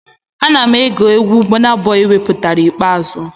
Ana m ege egwu Bọna Bọi wepụtara ikpeazụ